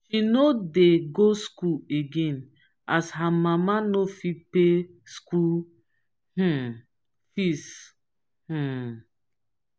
she no dey go skool again as her mama no fit pay skool um fees. um